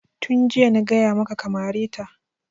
Tun jiya na gaya maka ka mare ta!